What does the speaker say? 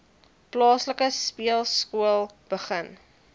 plaaslike speelskool begin